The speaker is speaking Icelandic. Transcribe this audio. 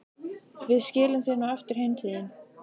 Við skilum þér nú aftur heim til þín.